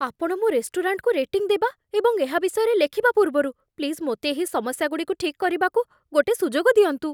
ଆପଣ ମୋ ରେଷ୍ଟୁରାଣ୍ଟକୁ ରେଟିଂ ଦେବା ଏବଂ ଏହା ବିଷୟରେ ଲେଖିବା ପୂର୍ବରୁ ପ୍ଲିଜ୍ ମୋତେ ଏହି ସମସ୍ୟାଗୁଡ଼ିକୁ ଠିକ୍ କରିବାକୁ ଗୋଟେ ସୁଯୋଗ ଦିଅନ୍ତୁ।